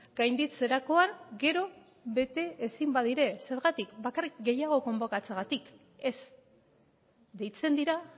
gainditzerakoan gero bete ezin badira zergatik bakarrik gehiago konbokatzeagatik ez deitzen dira